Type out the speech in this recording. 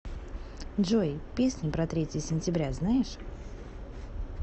джой песню про третье сентября знаешь